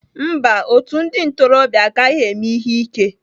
Mba, otu ndị ntorobịa agaghị eme ihe ike